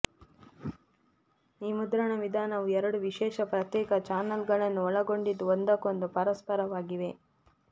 ಈ ಮುದ್ರಣ ವಿಧಾನವು ಎರಡು ವಿಶೇಷ ಪ್ರತ್ಯೇಕ ಚಾನಲ್ ಗಳನ್ನೊಳಗೊಂಡಿದ್ದು ಒಂದಕ್ಕೊಂದು ಪರಸ್ಪರವಾಗಿವೆ